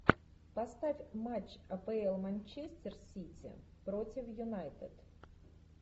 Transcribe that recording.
поставь матч апл манчестер сити против юнайтед